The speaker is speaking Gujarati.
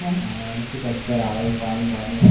હા મે કીધુ ચક્કર આવે છે પાની બાની આપ